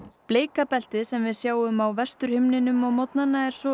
bleika beltið sem við sjáum á Vesturhimninum á morgnana er svo